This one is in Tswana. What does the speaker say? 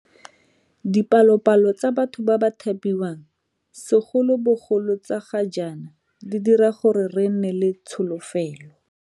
Dipalopalo tsa batho ba ba thapiwang, segolobogolo tsa ga jaana, di dira gore re nne le tsholofelo.